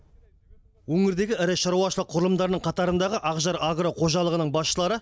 өңірдегі ірі шаруашылық құрылымдарының қатарындағы ақжар агро қожалығының басшылары